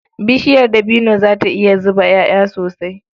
Bishiyar dabino za ta iya zuba ƴaƴa sosai.